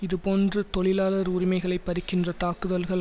இதேபோன்று தொழிலாளர் உரிமைகளை பறிக்கின்ற தாக்குதல்கள்